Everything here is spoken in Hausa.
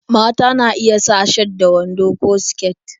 Mata na iya sa shat da wando ko siket